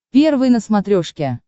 первый на смотрешке